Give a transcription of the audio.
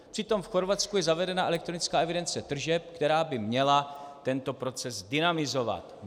Přitom v Chorvatsku je zavedena elektronická evidence tržeb, která by měla tento proces dynamizovat.